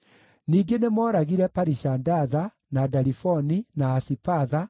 Ningĩ nĩmooragire Parishandatha, na Dalifoni, na Asipatha,